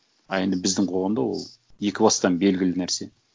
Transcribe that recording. а енді біздің қоғамда ол екі бастан белгілі нәрсе